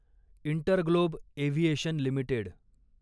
InterGlobe Aviation limited